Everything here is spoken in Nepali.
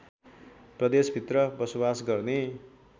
प्रदेशभित्र बसोबास गर्ने